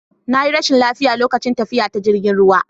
Na yi rashin lafiya lokacin tafiya ta jirgin ruwa